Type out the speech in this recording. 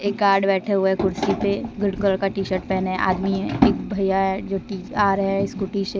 एक गार्ड बैठे हुए कुर्सी पे ग्रीन कलर का टीशर्ट पहने आदमी है एक भैया है जो आ रहे है स्कूटी से।